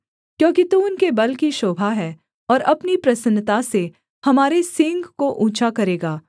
क्योंकि तू उनके बल की शोभा है और अपनी प्रसन्नता से हमारे सींग को ऊँचा करेगा